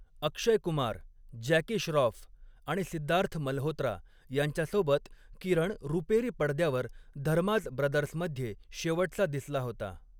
अक्षय Kumar, Jackie Shroff आणि सिद्धार्थ मल्होत्रा यांच्यासोबत किरण रुपेरी पडद्यावर धर्माज ब्रदर्समध्ये शेवटचा दिसला होता.